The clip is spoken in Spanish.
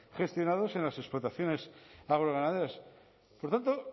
gestionados en las explotaciones agroganaderas por tanto